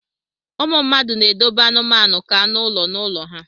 ụmụ mmadụ na-edobe anụmanụ ka anụ ụlọ n'ụlọ ha